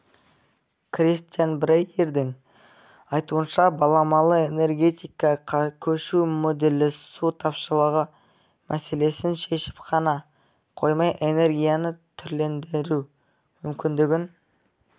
кристиан брейердің айтуынша баламалы энергетикаға көшу моделі су тапшылығы мәселесін шешіп қана қоймай энергияны түрлендіру мүмкіндігін